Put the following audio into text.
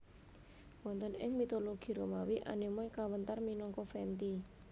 Wonten ing mitologi Romawi Anemoi kawéntar minangka Venti